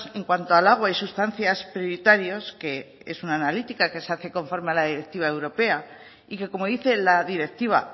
en cuanto al agua y sustancias prioritarios que es una analítica que se hace conforme a la directiva europea y que como dice la directiva